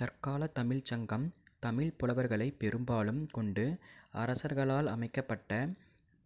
தற்காலத் தமிழ்ச் சங்கம் தமிழ்ப் புலவர்களை பெரும்பாலும் கொண்டு அரசர்களால் அமைக்கப்பட்ட